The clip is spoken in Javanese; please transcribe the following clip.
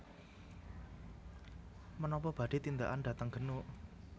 Menopo badhe tindakan dhateng Genuk?